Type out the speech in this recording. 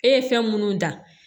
E ye fɛn munnu dan